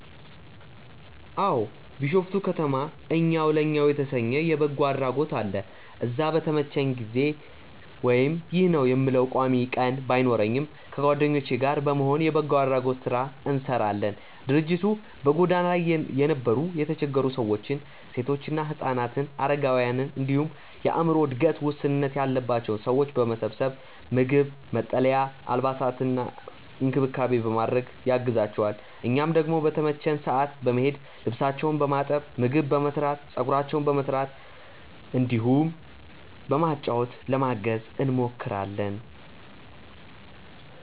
አዎ። ቢሾፍቱ ከተማ እኛው ለእኛው የተሰኘ የበጎ አድራጎት አለ። እዛ በተመቸኝ ጊዜ (ይህ ነው የምለው ቋሚ ቀን ባይኖረኝም) ከጓደኞቼ ጋር በመሆን የበጎ አድራጎት ስራ እንሰራለን። ድርጅቱ በጎዳና ላይ የነበሩ የተቸገሩ ሰዎችን፣ ሴቶችና ህፃናትን፣ አረጋውያንን እንዲሁም የአዕምሮ እድገት ውስንነት ያለባቸውን ሰዎች በመሰብሰብ ምግብ፣ መጠለያ፣ አልባሳትና እንክብካቤ በማድረግ ያግዛቸዋል። እኛም ደግሞ በተመቸን ሰዓት በመሄድ ልብሳቸውን በማጠብ፣ ምግብ በመስራት፣ ፀጉራቸውን በመስራት እንዲሁም በማጫወት ለማገዝ እንሞክራለን።